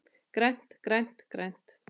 GRÆNT, GRÆNT, GRÆNT.